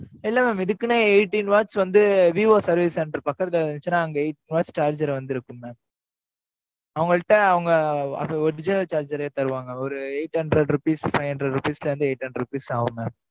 இல்ல mam இதுக்குன்னே eighteen watts வந்து, விவோ service center பக்கத்துல இருந்துச்சுன்னா, அங்க eight hours charger வந்திருக்கும் mam அவங்கள்ட்ட, அவங்க, அந்த original charger ரே தருவாங்க. ஒரு eight hundred rupees, five hundred rupees ல இருந்து, eight hundred rupees ஆகுங்க.